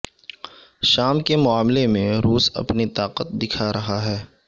شام کے معاملے میں روس اپنی طاقت دکھا رہا ہے